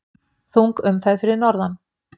Þung umferð fyrir norðan